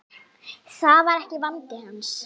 Það var ekki vandi hans.